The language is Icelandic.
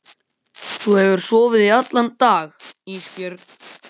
Þú hefur sofið í allan dag Ísbjörg.